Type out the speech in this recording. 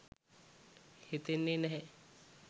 හිතෙන්නේ නැහැ.